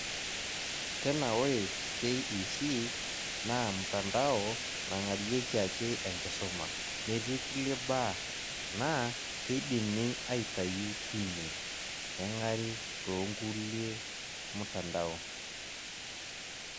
Tena ore KEC naa mtandao nang'arieki ake enkisuma metii kulie baa, naa keidimi aitayu tine, neng'ari tookulie mtandao.